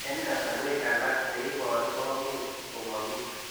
Eng' kasarwek alak neiparu komuch ko mami